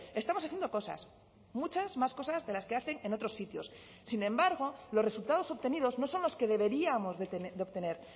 estamos haciendo cosas muchas más cosas de las que hacen en otros sitios sin embargo los resultados obtenidos no son los que deberíamos de obtener